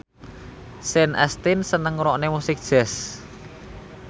Sean Astin seneng ngrungokne musik jazz